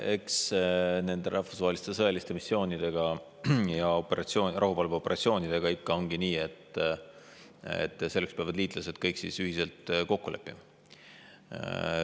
Eks nende rahvusvaheliste sõjaliste missioonidega ja rahuvalveoperatsioonidega on nii, et nendes peavad liitlased kõik ühiselt kokku leppima.